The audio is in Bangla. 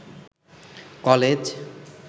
কলেজ